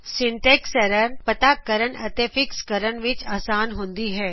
syntax errors ਪੱਤਾ ਕਰਨ ਅਤੇ ਫਿਕਸ ਕਰਨ ਵਿੱਚ ਆਸਾਨ ਹੁੰਦੀ ਹੈ